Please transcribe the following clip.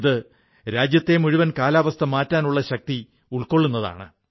ഇത് രാജ്യത്തെ മുഴുവൻ കാലാവസ്ഥ മാറ്റാനുള്ള ശക്തി ഉൾക്കൊള്ളുന്നതാണ്